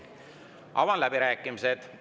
Avan läbirääkimised.